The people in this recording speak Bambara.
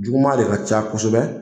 Juguman de ka ca kosɛbɛ